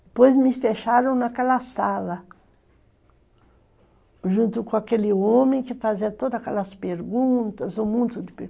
Depois me fecharam naquela sala, junto com aquele homem que fazia todas aquelas perguntas, um monte de perguntas.